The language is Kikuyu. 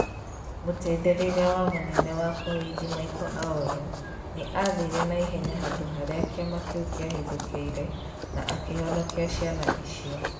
Mũteithĩrĩria wa mũnene wa Kowidi Michael Aoro, nĩ aathire na ihenya handũ harĩa kĩama kĩu kĩahithũkĩire na akĩhonokia ciana icio.